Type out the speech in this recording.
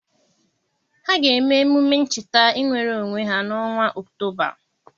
Ha ga-eme emume ncheta inwere onwe ha n'ọnwa Ọktoba.